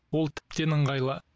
ол тіптен ыңғайлы